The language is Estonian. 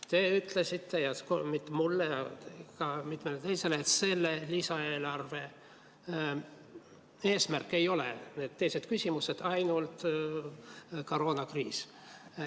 Te ütlesite mulle, ja mitte ainult mulle, ka mitmele teisele, et selle lisaeelarve eesmärk ei ole need teised küsimused, vaid ainult koroonakriis.